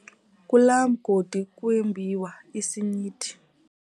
Kulaa mgodi kwembiwa isinyithi.